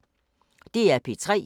DR P3